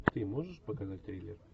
ты можешь показать триллер